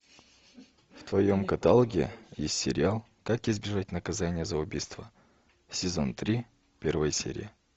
в твоем каталоге есть сериал как избежать наказания за убийство сезон три первая серия